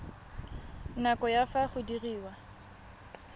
nako ya fa go diriwa